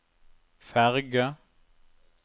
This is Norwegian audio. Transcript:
ferge